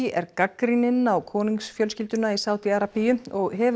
er gagnrýninn á konungsfjölskylduna í Sádi Arabíu og hefur